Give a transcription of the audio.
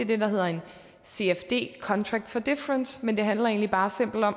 det der hedder en cfd contract for difference men det handler egentlig bare